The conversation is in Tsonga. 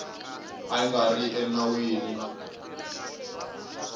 ka yi nga ri enawini